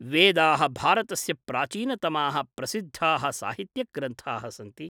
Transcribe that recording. वेदाः भारतस्य प्राचीनतमाः प्रसिद्धाः साहित्यग्रन्थाः सन्ति।